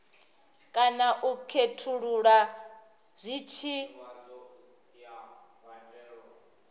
kana u khethulula zwi tshi